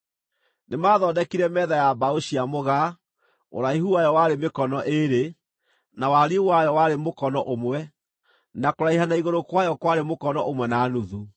Nĩmathondekire metha ya mbaũ cia mũgaa, ũraihu wayo warĩ mĩkono ĩĩrĩ, na wariĩ wayo warĩ mũkono ũmwe, na kũraiha na igũrũ kwayo kwarĩ mũkono ũmwe na nuthu.